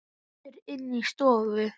Aftur inn í stofu.